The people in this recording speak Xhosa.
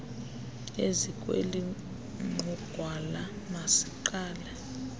ezikweli nqugwala masiqale